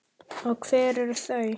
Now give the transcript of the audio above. Og hver eru þau?